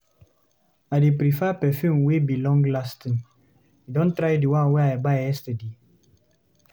I dey prefer perfume wey be long-lasting. You don try di one wey I buy yesterday?